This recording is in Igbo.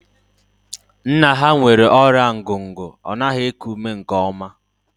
Nna ha nwere ọrịa ngugu, ọ naghị eku ume nke oma